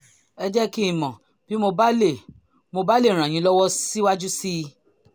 ẹ jẹ́ kí n mọ̀ bí mo bá lè mo bá lè ràn yín lọ́wọ́ síwájú sí i